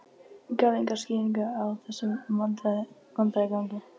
Gaf enga skýringu á þessum vandræðagangi.